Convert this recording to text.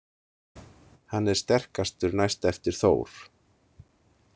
Hann er sterkastur næst eftir Þór.